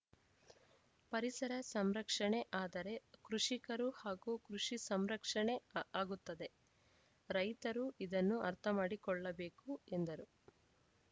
ಪರಿಸರ ಸಂರಕ್ಷಣೆ ಆದರೆ ಕೃಷಿಕರು ಹಾಗೂ ಕೃಷಿ ಸಂರಕ್ಷಣೆ ಆಗುತ್ತದೆ ರೈತರು ಇದನ್ನು ಅರ್ಥಮಾಡಿಕೊಳ್ಳಬೇಕು ಎಂದರು